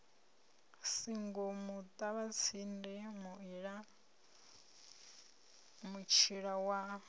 singo muṱavhatsindi muila mutshila wa